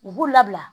U b'u labila